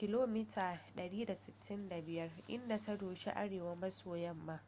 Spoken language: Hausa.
165 km/h inda ta doshi arewa-maso-yamma